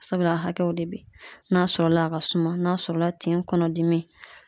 Sabula hakɛw de be ye n'a sɔrɔla a ka suma n'a sɔrɔla tin kɔnɔ dimi